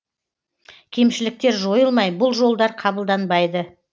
кемшіліктер жойылмай бұл жолдар қабылданбайды